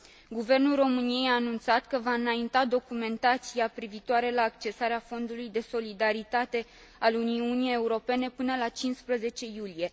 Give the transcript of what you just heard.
Guvernul României a anunțat că va înainta documentația privitoare la accesarea Fondului de Solidaritate al Uniunii Europene până la 15 iulie.